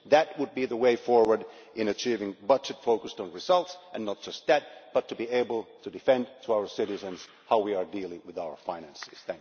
That would be the way forward in achieving a budget focused on results and, not just that, to be able to justify to our citizens how we are dealing with our finances.